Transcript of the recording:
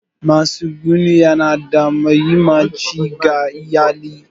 Matsuguni yana da mahimmanci ga iyali.